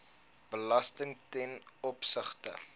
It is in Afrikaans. belasting ten opsigte